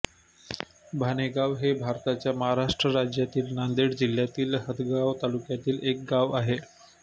भाणेगाव हे भारताच्या महाराष्ट्र राज्यातील नांदेड जिल्ह्यातील हदगाव तालुक्यातील एक गाव आहे